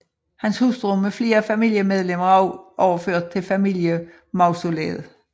Hans hustru med flere familiemedlemmer er også overført til familiemausoleet